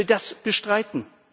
Wer will das bestreiten?